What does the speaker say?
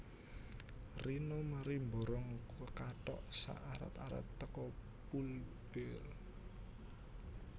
Rina mari mborong kathok sak arat arat teko Pull Bear